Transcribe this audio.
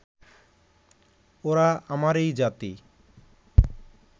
ওরা আমারই জাতি